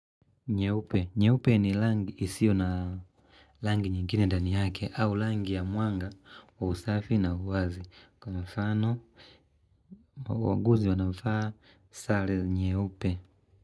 Nyeupe, nyeupe ni langi isio na langi nyingine ndani yake au langi ya mwanga wa usafi na uwazi. Kwa mfano, wauguzi wanafaa sale nyeupe.